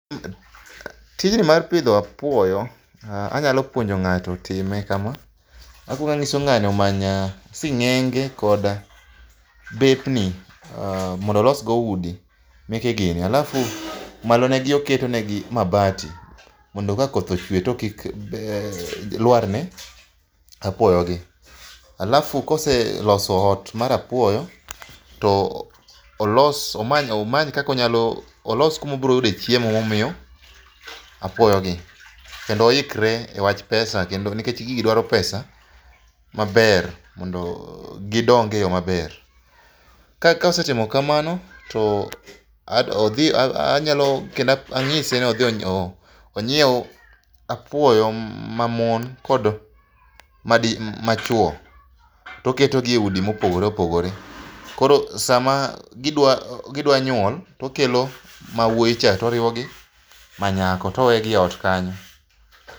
Tijni mar pidho apuoyo, anyalo puonjo ng'ato otime kama. Akuongo anyiso ng'ani omany sing'enge kod bepni, mondo olos go udi meke gini, alafu malo negi oketonegi mabati mondo ka koth ochwe to kik lwarne apuoyogi. Alafu koseloso ot mar apuoyo, olos kuma obro yudoe chiemo momiyo apuoyogi. Kendo oikre e wach pesa nikech gigi dwaro pesa maber mondo gidong e yo maber. Ka osetimo kamano, to ang'ise ni odhi onyiew apuoyo mamon kod machuwo, toketogi e udi ma opogore opogore. Koro sama gidwa nyuol, tokelo mawuoyi cha toriwo gi manyako, to owegi e ot kanyo.